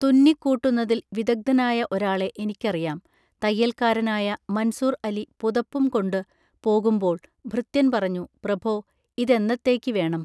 തുന്നി കൂട്ടുന്നതിൽവിദഗ്ദ്ധനായ ഒരാളെ എനിക്കറിയാം തയ്യൽക്കാരനായ മൻസൂർഅലി പുതപ്പും കൊണ്ടു പോകുന്പോൾ ഭൃത്യൻ പറഞ്ഞു പ്രഭോ ഇതെന്നത്തേയ്ക്ക് വേണം